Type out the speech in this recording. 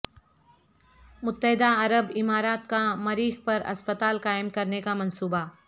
متحدہ عرب امارات کا مریخ پر اسپتال قائم کرنے کا منصوبہ